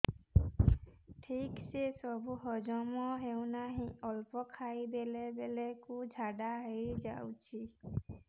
ଠିକସେ ସବୁ ହଜମ ହଉନାହିଁ ଅଳ୍ପ ଖାଇ ଦେଲା ବେଳ କୁ ଝାଡା ହେଇଯାଉଛି